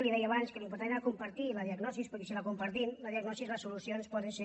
li deia abans que l’important era compartir la diagnosi perquè si la compartim la diagnosi les solucions poden ser